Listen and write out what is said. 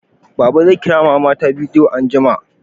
Baba zai Kira mama ta bidiyo anjima